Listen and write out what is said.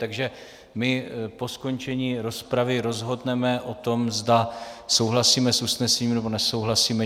Takže my po skončení rozpravy rozhodneme o tom, zda souhlasíme s usnesením, nebo nesouhlasíme.